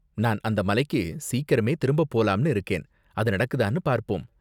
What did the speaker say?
நான் அந்த மலைக்கு சீக்கிரமே திரும்பப் போலாம்னு இருக்கேன், அது நடக்குதான்னு பார்ப்போம்.